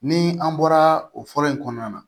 Ni an bɔra o fɔlɔ in kɔnɔna na